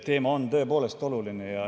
Teema on tõepoolest oluline.